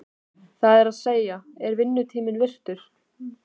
Það er að segja, er vinnutími virtur?